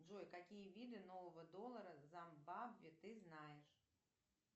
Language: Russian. джой какие виды нового доллара зимбабве ты знаешь